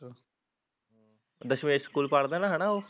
Dashmesh school ਪੜਦਾ ਨਾ ਉਹ